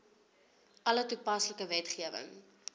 alle toepaslike wetgewing